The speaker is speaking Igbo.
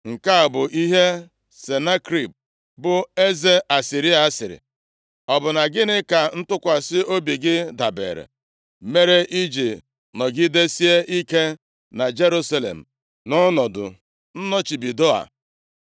“Nke a bụ ihe Senakerib, bụ eze Asịrịa sịrị: Ọ bụ na gịnị ka ntụkwasị obi gị dabere, mere i ji nọgidesie ike na Jerusalem nʼọnọdụ nnọchibido a?